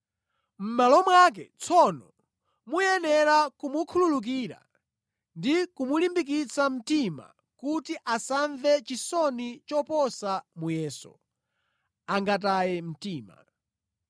Mʼmalo mwake tsono, muyenera kumukhululukira ndi kumulimbikitsa mtima kuti asamve chisoni choposa muyeso, angataye mtima.